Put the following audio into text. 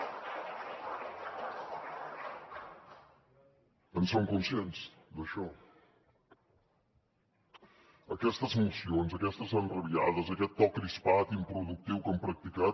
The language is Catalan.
en són conscients d’això aquestes mocions aquestes enrabiades aquest to crispat improductiu que han practicat